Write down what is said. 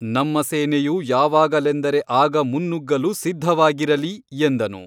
ನಮ್ಮ ಸೇನೆಯು ಯಾವಾಗಲೆಂದರೆ ಆಗ ಮುನ್ನುಗ್ಗಲು ಸಿದ್ಧವಾಗಿರಲಿ ಎಂದನು.